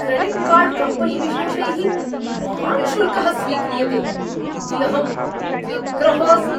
Credit card कम्पनीवेशेषैः महान् शुल्कः स्वीक्रियते इति अहं व्यग्रः अस्मि।